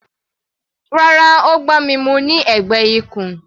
Rárá, Ó gbá mi mú ní ẹ̀gbẹ́ ikùn.